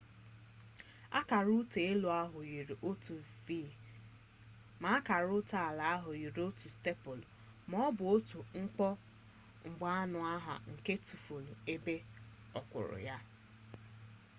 akara ụta elu ahụ yiri otu v ma akara ụta ala ahụ yiri otu stepụlụ ma ọ bụ otu nkomgbaanonha nke tufure ebe okpuru ya